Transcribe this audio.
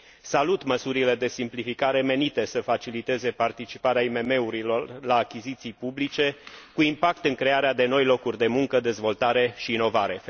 Salut măsurile de simplificare, menite să faciliteze participarea IMM urilor la achiziții publice, cu impact în crearea de noi locuri de muncă, dezvoltare și inovare.